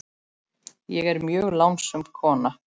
Ég er mjög lánsöm kona.